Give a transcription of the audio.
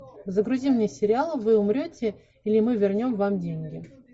загрузи мне сериал вы умрете или мы вернем вам деньги